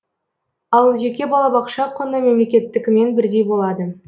ал жеке балабақша құны мемлекеттікімен бірдей болады